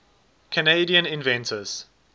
canadian inventors